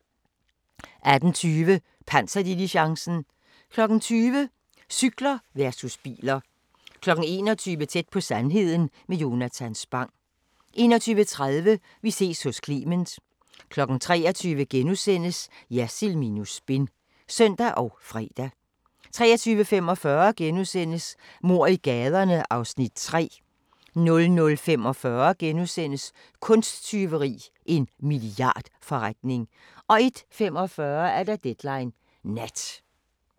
18:20: Panserdiligencen 20:00: Cykler versus biler 21:00: Tæt på sandheden med Jonatan Spang 21:30: Vi ses hos Clement 23:00: Jersild minus spin *(søn og fre) 23:45: Mord i gaderne (Afs. 3)* 00:45: Kunsttyveri – en milliardforretning * 01:45: Deadline Nat